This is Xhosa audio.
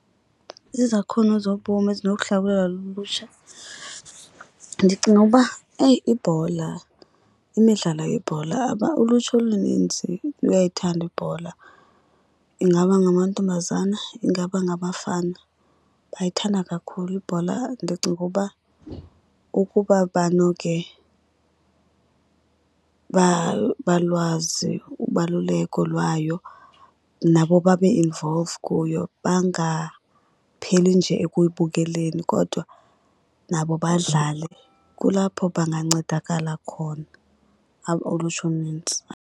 Izakhono zobomi ezinokuhlakulelwa lulutsha ndicinga uba eyi ibhola imidlalo yebhola. Ulutsha olunintsi luyayithanda ibhola. Ingaba ngamantombazana ingaba ngabafana bayithanda kakhulu ibhola. Ndicinga uba ukuba banoke balwazi ubaluleko lwayo nabo babe involved kuyo bangapheli nje ekuyibukeleni kodwa nabo badlale, kulapho bangancedakala khona ulutsha olunintsi.